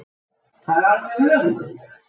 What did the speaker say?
Það er alveg ömurlegt.